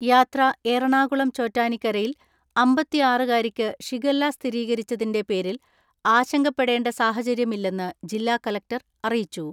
യാത്രാ എറണാകുളം ചോറ്റാനിക്കരയിൽ അമ്പത്തിആറ്കാരിക്ക് ഷിഗെല്ല സ്ഥിരീകരിച്ചതിന്റെ പേരിൽ ആശങ്കപ്പെടേണ്ട സാഹചര്യമില്ലെന്ന് ജില്ലാ കലക്ടർ അറിയിച്ചു.